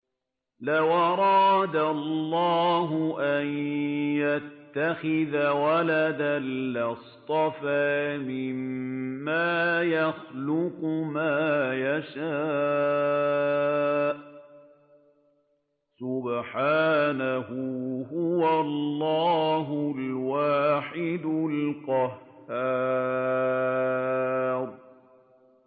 لَّوْ أَرَادَ اللَّهُ أَن يَتَّخِذَ وَلَدًا لَّاصْطَفَىٰ مِمَّا يَخْلُقُ مَا يَشَاءُ ۚ سُبْحَانَهُ ۖ هُوَ اللَّهُ الْوَاحِدُ الْقَهَّارُ